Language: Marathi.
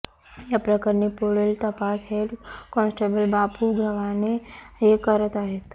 या प्रकरणी पुढील तपास हेड काँस्टेबल बापु गव्हाणे हे करत आहेत